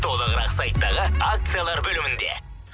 толығырақ сайттағы акциялар бөлімінде